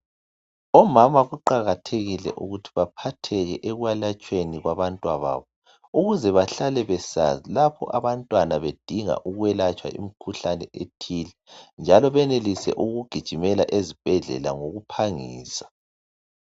Omama kuqakathekile ukuthi baphatheke ekwelatshweni kwabantwababo ukuze bahlale besazi lapho abantwana bedinga ukwelatshwa imikhuhlane ethile njalo benelise ukugijimela ezibhedlela ngokuphangisa